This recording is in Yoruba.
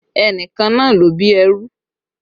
Ẹnìkan náà ló bí ẹrú